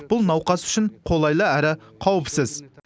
бұл науқас үшін қолайлы әрі қауіпсіз